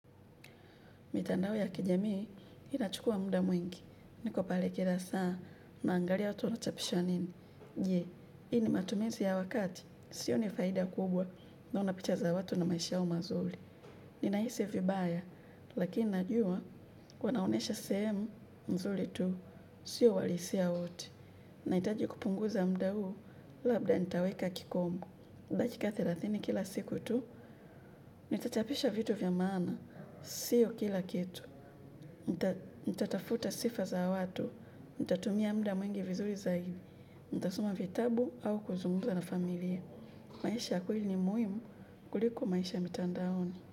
Mitandao ya kijamii, inachukua muda mwingi. Niko pale kila saa, naangalia watu wanachapisha nini. Je, hi ni matumizi ya wakati, sioni faida kubwa naona picha za watu na maisha yao mazuri. Ninahisi vibaya, lakini najua, wanaonyesha sehemu mzuri tu, sio uhalisia wote. Nahitaji kupunguza muda huu, labda nitaweka kikomo. Dakika thelathini kila siku tu, nitachapisha vitu vya maana, sio kila kitu. Nitatafuta sifa za watu. Nitatumia muda mwingi vizuri zaidi. Nitasoma vitabu au kuzungumza na familia. Maisha kweli ni muhimu kuliko maisha mitandaoni.